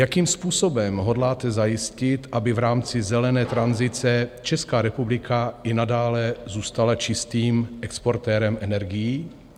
Jakým způsobem hodláte zajistit, aby v rámci zelené tranzice Česká republika i nadále zůstala čistým exportérem energií?